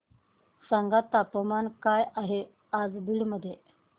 सांगा तापमान काय आहे आज बीड मध्ये